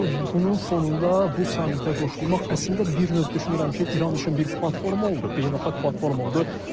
Deməli, bunun fonunda bu samitə qoşulmaq əslində bir növ düşünürəm ki, İran üçün bir platforma oldu, beynəlxalq platforma oldu.